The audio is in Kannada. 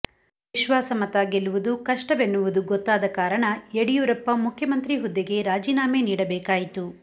ವಿಶ್ವಾಸ ಮತ ಗೆಲ್ಲುವುದು ಕಷ್ಟವೆನ್ನುವುದು ಗೊತ್ತಾದ ಕಾರಣ ಯಡಿಯೂರಪ್ಪ ಮುಖ್ಯಮಂತ್ರಿ ಹುದ್ದೆಗೆ ರಾಜೀನಾಮೆ ನೀಡಬೇಕಾಯಿತು